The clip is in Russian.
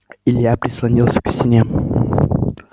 илья прислонился к стене